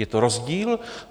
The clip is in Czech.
Je to rozdíl.